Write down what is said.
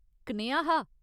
कनेहा हा ?